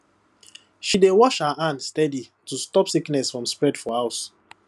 she dey wash her hands steady to stop sickness from spread for house